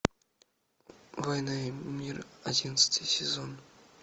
война и мир одиннадцатый сезон